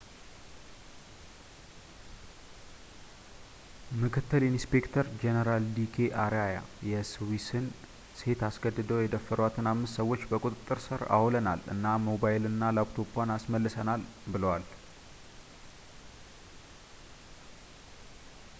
ምክትል ኢንስፔክተር ጀኔራል ዲ ኬ አርያ የስዊስዋን ሴት አስገድደው የደፈሯትን አምስት ሰዎችን በቁጥጥር ሥር አውለናል እና ሞባይልና ላፕቶፗን አስመልሰናል ብለዋል